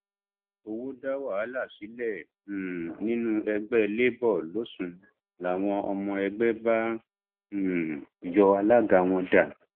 owó dá wàhálà sílẹ um nínú ẹgbẹ labour losùn làwọn ọmọ ẹgbẹ bá um yọ alága wọn dànù